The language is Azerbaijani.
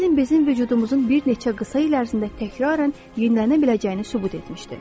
Elm bizim vücudumuzun bir neçə qısa il ərzində təkraran yenilənə biləcəyini sübut etmişdir.